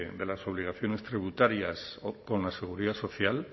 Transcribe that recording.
de las obligaciones tributarias o con la seguridad social